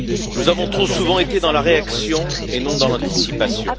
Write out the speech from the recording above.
Nous avons trop souvent été dans la réaction et non dans l'anticipation.